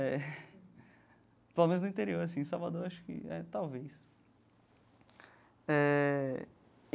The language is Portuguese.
É. Pelo menos no interior assim, em Salvador, acho que é talvez eh.